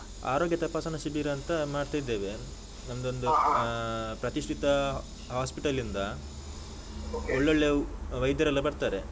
ಆರೋಗ್ಯ ತಪಾಸಣಾ ಶಿಬಿರ ಅಂತ ಮಾಡ್ತಿದ್ದೇವೆ. ಒಂದೊಂದು ಪ್ರತಿಷ್ಠಿತ hospital ಇಂದ ಒಳ್ಳೊಳ್ಳೆ ವೈದ್ಯರೆಲ್ಲ ಬರ್ತಾರೆ.